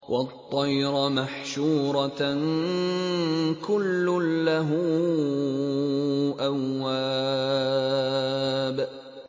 وَالطَّيْرَ مَحْشُورَةً ۖ كُلٌّ لَّهُ أَوَّابٌ